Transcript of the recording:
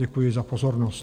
Děkuji za pozornost.